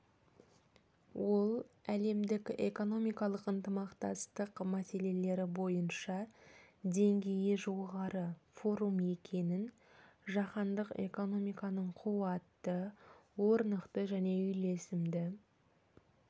ол әлемдік экономикалық ынтымақтастық мәселелері бойынша деңгейі жоғары форум екенін жаһандық экономиканың қуатты орнықты және үйлесімді